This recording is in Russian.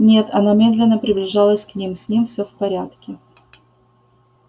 нет она медленно приближалась к ним с ним все в порядке